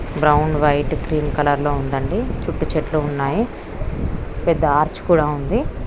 Brown white cream colour లో ఉందండి చుట్టూ చెట్లు ఉన్నాయి పెద్ద ఆర్చ్ కూడా ఉంది.